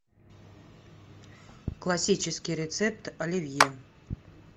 классический рецепт оливье